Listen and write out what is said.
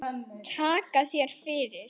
Takka þér fyrir